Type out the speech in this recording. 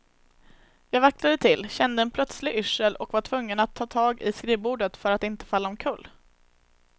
Jag vacklade till, kände en plötslig yrsel och var tvungen att ta tag i skrivbordet för att inte falla omkull.